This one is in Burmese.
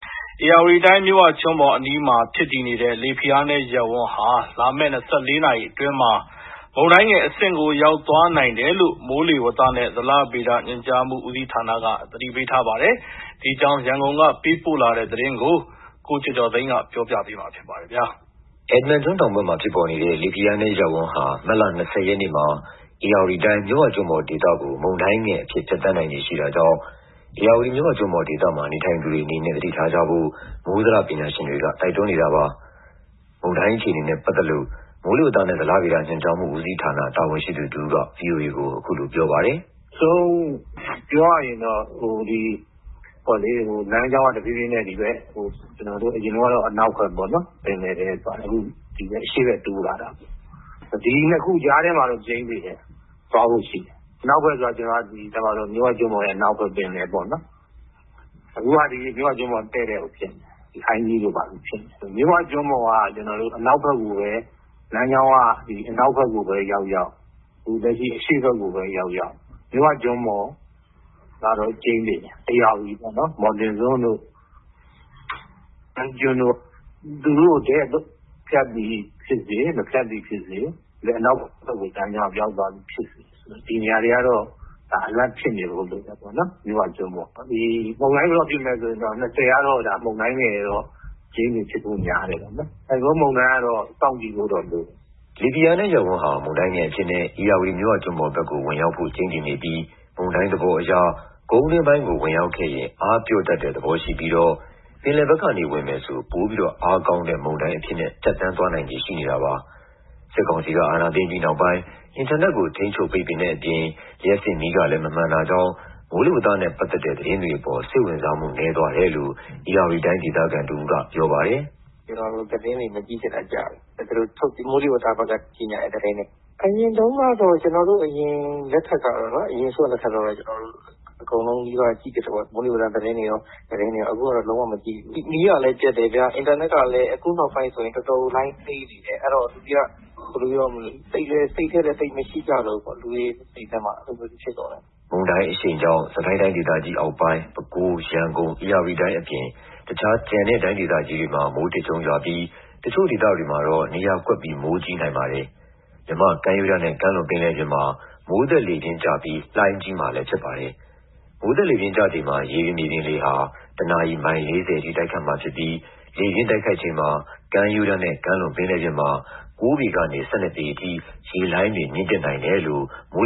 ဧရာဝတီတိုင်း မြစ်ဝကျွန်းပေါ်အနီးမှာ ဖြစ်တည်နေတဲ့ လေဖိအားနည်းရပ်ဝန်းဟာ လာမယ့် ၂၄ နာရီအတွင်း မုန်တိုင်းငယ်အဆင့်ကို ရောက်သွားနိုင်တယ်လို့ မိုးလေဝသနဲ့ ဇလဗေဒ ညွှန်ကြားမှု ဦးစီးဌာနက သတိပေးထားပါတယ်။ ဒီအကြောင်း ရန်ကုန်ကလာတဲ့သတင်းကို ကိုကျော်ကျော်သိန်း ပြောပြပါမယ်။ အက်ဒမန်ကျွန်းတောင်ဘက်မှာ ဖြစ်ပေါ်နေတဲ့ လေဖိအားနည်းရပ်ဝန်းဟာ မတ်လ ၂၀ ရက်နေ့မှာ ဧရာတီတိုင်း မြစ်ဝကျွန်းပေါ်ဒေသကို မုန်တိုင်းငယ်အဖြစ် ဖြတ်သန်းနိုင်ခြေ ရှိတာကြောင့် ဧရာဝတီ မြစ်ဝကျွန်းပေါ်ဒေသမှာ နေထိုင်သူတွေအနေနဲ့ သတိထားကြဖို့ မိုးဇလပညာရှင်တွေက တိုက်တွန်းနေတာပါ။ မုန်တိုင်းအခြေအနေနဲ့ ပတ်သက်လို့ မိုးလေဝသနဲ့ ဇလဗေဒ ညွှန်ကြားမှု ဦးစီးဌာနက တာဝန်ရှိသူတဦးက အခုလိုပြောပါတယ်။ “နောက်ဆုံးပြောရရင်တော့ လမ်းကြောင်းက ဒီဘက် ကျနော်တို့ အရင်တုန်းကတော့ အနောက်ဘက်ပေါ့နော် ပင်လယ်ထဲသွားတယ်။ အခု ဒီဘက် အရှေ့ဘက် (ကုန်းတွင်းဘက်) တိုးလာတာပေါ့နော်။ ဒီ ၂ ခုကြားထဲမှာတော့ ကျိန်းသေတယ် သွားဖို့ရှိတယ်။ အနောက်ဘက်ဆိုတာ မြစ်ဝကျွန်းပေါ်ရဲ့ အနောက်ဘက် ပင်လယ်ပေါ့နော်။ အခုက မြစ်ဝကျွန်းပေါ်ရဲ့ တည့်တည့်ကို ဖြစ်နေတယ်။ ဟိုင်းကြီးတို့ ဘာတို့ ဖြစ်နေတယ်။ မြစ်ဝကျွန်းပေါ်ရဲ့ အနောက်ဘက်ကိုပဲ ရောက်ရောက် အရှေ့ဘက်ကိုပဲ ရောက်ရောက် မြစ်ဝကျွန်းပေါ်က ကျိန်းသေတယ်။ ဧရာဝတီပေါ့နော် မော်တင်စွန်းတို့ ဟိုင်းကြီးကျွန်းတို့ သူတို့ကို တည့်ဖြတ်သည်ဖြစ်စေ၊ မဖြတ်သည်ဖြစ်စေ ဒီဘက် အနောက်ဘက်ကို ရောက်သွားသည်ဖြစ်စေ ဒီနေရာတွေကတော့ သတိပြုနေဖို့လိုတယ်။ မုန်တိုင်း ဘယ်တော့ဖြစ်မလဲဆိုရင် ၂၀ ကတော့ မုန်တိုင်းငယ် ဖြစ်ဖို့များတယ်ပေါ့နော်။ ဆိုင်ကလုန်းမုန်တိုင်းကတော့ စောင့်ကြည့်ဖို့လိုတယ်။” လေဖိအားနည်းရပ်ဝန်းဟာ မုန်တိုင်းငယ်အဖြစ်နဲ့ ဧရာဝတီ မြစ်ဝကျွန်းပေါ်ဘက်ကို ဝင်ရောက်ဖို့ ကျိန်းသေနေပြီး မုန်တိုင်းသဘောအရ ကုန်းတွင်းပိုင်းကို ဝင်ရောက်ခဲ့ရင် အားပျော့တတ်တဲ့သဘော ရှိပြီးတော့ ပင်လယ်ဘက်ကနေ ဝင်မယ်ဆို ပိုမိုအားကောင်းတဲ့ မုန်တိုင်းအဖြစ်နဲ့ ဖြတ်သန်းသွားနိုင်ခြေ ရှိနေတာပါ။ စစ်ကောင်စီက အာဏာသိမ်းပြီးနောက်ပိုင်း အင်တာနက်ကို ထိန်းချုပ် ပိတ်ပင်တဲ့အပြင် လျှပ်စစ်မီးကလည်း မမှန်တာကြောင့် မိုးလေဝသနဲ့ ပတ်သက်တဲ့ သတင်းတွေအပေါ် စိတ်ဝင်စားမှု နည်းသွားတယ်လို့ ဧရာဝတီတိုင်း ဒေသခံတဦးက အခုလိုပြောပါတယ်။ “ကျနော်တို့ သတင်းတွေ မကြည့်ဖြစ်တာကြာပြီ။ သူတို့ မိုးလေဝသဘက်ကထုတ်တဲ့ သတင်းတွေ။ အရင်လက်ထက်တုန်းကတော့ ကျနော်တို့ မိုးလေဝသသတင်းတွေ အကုန်နီးပါး ကြည့်ဖြစ်တယ်ပေါ့။ မိုးလေဝသ သတင်းတွေကော သတင်းတွေကော အကုန်ကြည့်ဖြစ်တယ်။ အခုကတော့ လုံးဝမကြည့်ဖြစ်ဘူး။ မီးကလည်းပျက်တယ်။ အင်တာနက်ကလည်း အခုနောက်ပိုင်း တော်တော်လိုင်းနှေးတယ်။ စိတ်ထဲ သိပ်မရှိကြတော့ဘူးပေါ့ လူတွေစိတ်ထဲမှာ။” မုန်တိုင်းအရှိန်ကြောင့် စစ်ကိုင်းတိုင်းဒေသကြီးအောက်ပိုင်း၊ ပဲခူး၊ ရန်ကုန်၊ ဧရာဝတီတိုင်း အပြင် တခြား ကျန်တဲ့ တိုင်းဒေသကြီးတွေမှာ မိုးထစ်ချုန်းရွာပြီး တချို့ဒေသတွေမှာတော့ နေရာကွက်ပြီး မိုးကြီးနိုင်ပါတယ်။ မြန်မာ့ကမ်းရိုးတမ်းနဲ့ ကမ်းလွန်ပင်လယ်ပြင်မှာ မိုးသက်လေပြင်းကျပြီး လှိုင်းကြီးမှာလည်း ဖြစ်ပါတယ်။ မိုးသက်လေပြင်းကျချိန်မှာ ရေပြင်မြေပြင်လေဟာ ၁ နာရီ မိုင် ၄၀ ထိ တိုက်ခတ်မှာဖြစ်ပြီး လေပြင်းတိုက်ခတ်ချိန် ကမ်းရိုးတန်းနဲ့ ကမ်းလွန်ပြင်လယ်ပြင်မှာ ၉ ပေကနေ ၁၂ ပေအထိ ရေလှိုင်းတွေ မြင့်တက်နိုင်တယ်လို့ မိုး